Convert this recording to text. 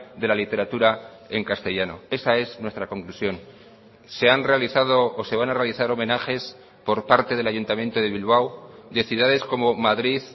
de la literatura en castellano esa es nuestra conclusión se han realizado o se van a realizar homenajes por parte del ayuntamiento de bilbao de ciudades como madrid